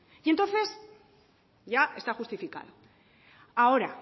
y entonces ya está justificado ahora